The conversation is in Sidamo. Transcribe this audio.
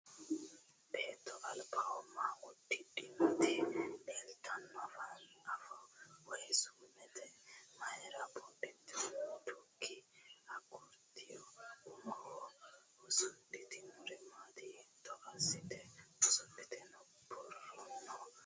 Beetto albaho ma buudhitino? Illetenna afooho Woyi suumete mayiira buudhitukki agurtuyya? Umoho usudhitinorino maati? Hiitto assite usudhite no? Borrono mayiitawote?